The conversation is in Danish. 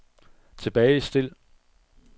tilbagestil